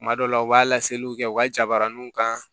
Kuma dɔw la u b'a laseliw kɛ u ka jabaraninw kan